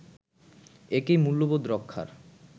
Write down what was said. একই মূল্যবোধ রক্ষার